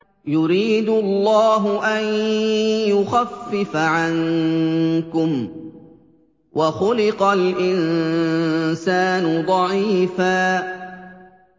يُرِيدُ اللَّهُ أَن يُخَفِّفَ عَنكُمْ ۚ وَخُلِقَ الْإِنسَانُ ضَعِيفًا